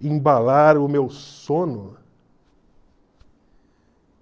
embalar o meu sono